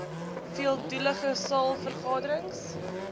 veeldoelige saal vergaderings